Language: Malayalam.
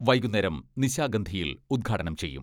വൈകുന്നേരം നിശാഗന്ധിയിൽ ഉദ്ഘാടനം ചെയ്യും.